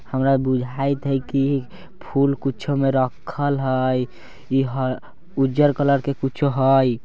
हमरा बुझाईत हई कि फूल कुछो में रखल हई इ ह-उर्जर कलर के कुछो हई ।